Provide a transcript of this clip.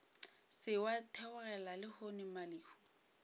se wa theogela lehono mmalehu